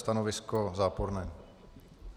Stanovisko záporné.